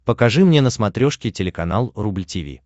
покажи мне на смотрешке телеканал рубль ти ви